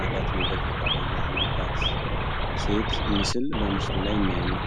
ማዲያት ነገር ፊቷ ላይ ያለባት ሴት ምስል በምስሉ ላይ እናያለን።